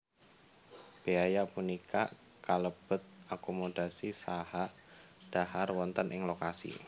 Béaya punika kalebet akomodasi saha dhahar wonten ing lokasi